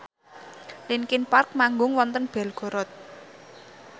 linkin park manggung wonten Belgorod